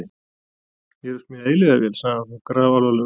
Ég er að smíða eilífðarvél, sagði hann þá grafalvarlegur.